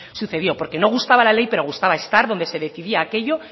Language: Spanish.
sucedió porque no gustaba la ley pero gustaba estar donde se decidía aquello